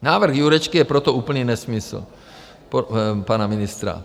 Návrh Jurečky je proto úplný nesmysl, pana ministra.